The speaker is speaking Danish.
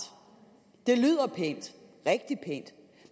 det lyder pænt rigtig pænt